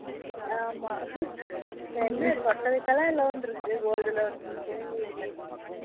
ஆமா இப்போ என்ன தோட்டதுகலாம் loan இருக்கு gold loan இருக்கு வீடு கட்டுறதுக்குழாம்